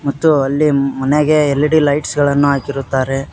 ತ್ತು ಅಲ್ಲಿ ಮನೆಗೆ ಎಲ್_ಇ_ಡಿ ಲೈಟ್ಸ್ ಗಳನ್ನು ಹಾಕಿರುತ್ತಾರೆ.